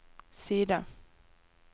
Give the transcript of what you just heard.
side